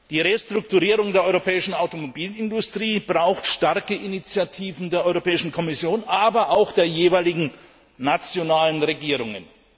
Die Restrukturierung der europäischen Automobilindustrie braucht starke Initiativen der Europäischen Kommission, aber auch der jeweiligen nationalen Regierungen.